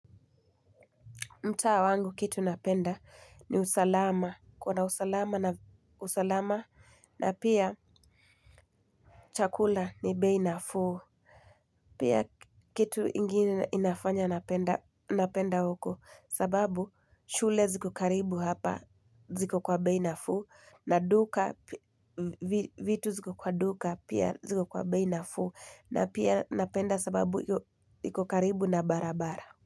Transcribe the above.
Mtaa wangu kitu napenda ni usalama. Kuwa na usalama na usalama na pia chakula ni bei nafuu. Pia kitu ingine inafanya napenda huko. Sababu shule ziko karibu hapa ziko kwa bei nafuu. Na duka vitu ziko kwa duka pia ziko kwa bei nafuu. Na pia napenda sababu ziko karibu na barabara.